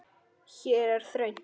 Hér er þröngt.